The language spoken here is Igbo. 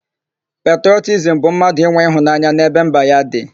Petrọtizimu bụ mmadụ inwe ịhụnanya n'ebe mba ya dị.